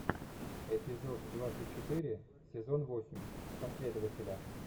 эпизод двадцать четыре сезон восемь последователя